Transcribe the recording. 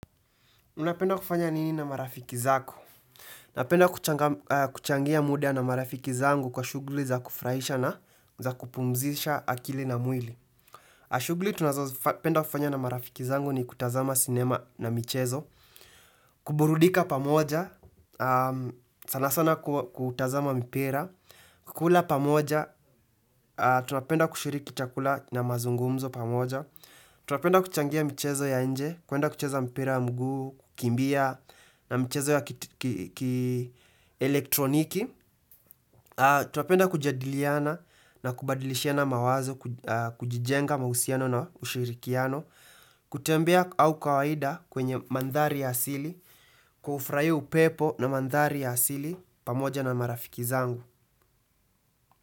Unapenda kufanya nini na marafiki zako? Napenda kuchangia muda na marafiki zangu kwa shughuli za kufurahisha na za kupumzisha akili na mwili. Shughuli tunapenda kufanya na marafiki zangu ni kutazama sinema na michezo, kuburudika pamoja, sana sana kutazama mpira, kukula pamoja, tunapenda kushiriki chakula na mazungumzo pamoja, tunapenda kuchangia michezo ya nje, kuenda kucheza mpira mguu, kukimbia, na mchezo ya ki elektroniki Tunapenda kujadiliana na kubadilishiana mawazo kujijenga mahusiano na ushirikiano kutembea au kawaida kwenye mandhari ya asili kufurahia upepo na mandhari ya asili pamoja na marafiki zangu.